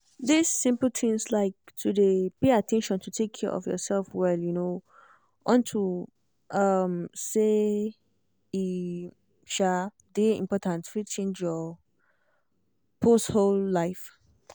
this simple tins like to dey pay at ten tion to take care of yourself well um unto um say e um dey important fit change your pause whole life